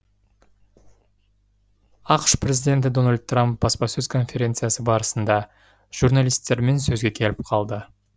ақш президенті дональд трамп баспасөз конференциясы барысында журналистермен сөзге келіп қалды